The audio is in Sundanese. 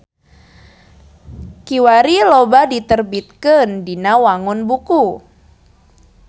Kiwari loba diterbitkeun dina wangun buku.